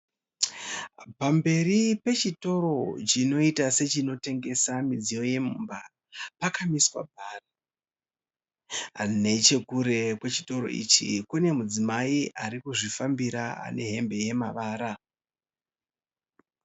Pamberi pechitoro chinoita sechinotengesa midziyo yemumba, pakamiswa bhara. Nechekure kwechitoro ichi kune mudzimai arikuzvifambira ane hembe yemavara.